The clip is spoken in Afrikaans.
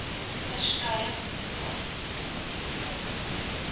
ver skeie kommunikasiemetodes